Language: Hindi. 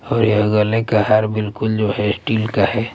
और यह गले का हार बिल्कुल जो हैं स्टील का हैं।